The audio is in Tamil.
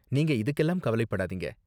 நீங்க இதுக்கெல்லாம் கவலைப்படாதீங்க.